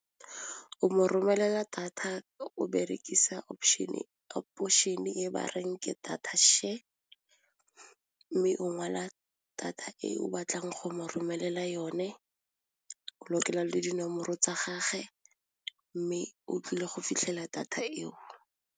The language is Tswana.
O mo romelela thata o berekisa option e ba reng ke data share mme ngwala data e o batlang go mo romelela yone o lokela le dinomoro tsa gagwe mme o tlile go fitlhela data eo.